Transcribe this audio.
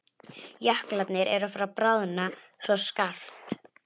Jöklarnir eru farnir að bráðna svo skarpt.